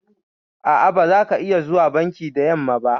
A'a, ba zaka iya zuwa banki da yamma ba.